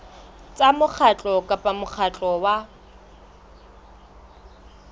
tsa mokgatlo kapa mokgatlo wa